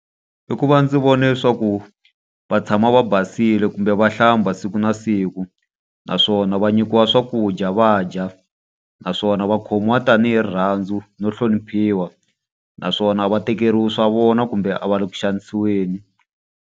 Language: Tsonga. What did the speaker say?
I ku va ndzi vona leswaku va tshama va basile kumbe va hlamba siku na siku. Naswona va nyikiwa swakudya va dya. Naswona va khomiwa tanihi rirhandzu no hloniphiwa. Naswona a va tekeriwi swa vona kumbe a va le ku xanisiweni.